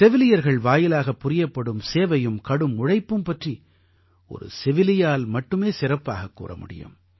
செவிலியர்கள் வாயிலாகப் புரியப்படும் சேவையும் கடும் உழைப்பும் பற்றி ஒரு செவிலியால் மட்டுமே சிறப்பாகக் கூற முடியும்